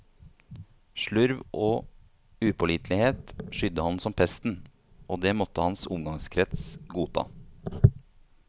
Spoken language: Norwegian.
Slurv og upålitelighet skydde han som pesten, og det måtte hans omgangskrets godta.